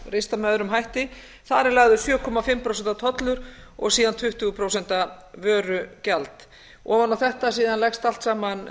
ristað með öðrum hætti þar er lagður sjö og hálft prósent tollur og síðan tuttugu prósent vörugjald ofan á þetta allt saman leggst síðan